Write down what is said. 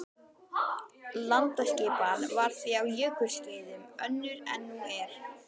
Landaskipan var því á jökulskeiðum önnur en nú er.